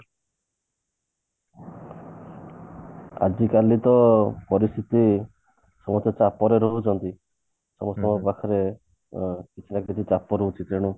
ଆଜିକାଲି ତ ପରିସ୍ଥିତି ସମସ୍ତେ ଚାପରେ ରହୁଛନ୍ତି ସମସ୍ତଙ୍କ ପାଖରେ ଅ କିଛି ନା କିଛି ଚାପ ରହୁଛି ତେଣୁ